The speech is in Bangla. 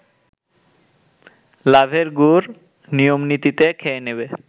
লাভের গুড় নিয়মনীতিতে খেয়ে নেবে